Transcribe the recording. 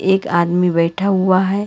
एक आदमी बैठा हुआ है।